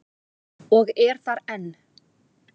Og er þar enn.